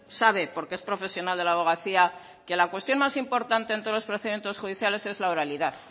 sabe porque es profesional de la abogacía que la cuestión más importante en todos los procedimientos judicial es la oralidad